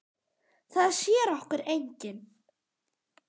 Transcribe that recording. Það sér okkur enginn.